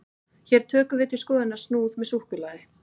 hér tökum við til skoðunar snúð með súkkulaði